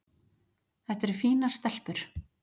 Þetta eru fínar stelpur.